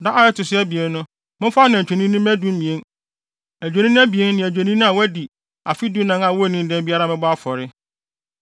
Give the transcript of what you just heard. “ ‘Da a ɛto so abien no, momfa anantwi anini mma dumien, adwennini abien ne adwennini a wɔadi afe dunan a wonnii dɛm biara mmɛbɔ afɔre.